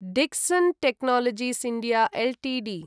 Dixon technologies India Ltd